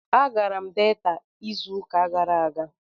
Agara m Delta izu uka gara aga